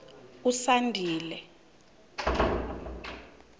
usandile